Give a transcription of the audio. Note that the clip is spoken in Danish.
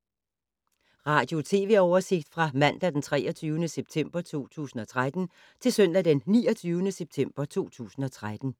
Radio/TV oversigt fra mandag d. 23. september 2013 til søndag d. 29. september 2013